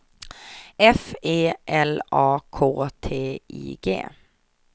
F E L A K T I G